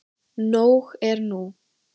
Nóg er nú.